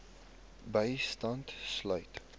bystand sluit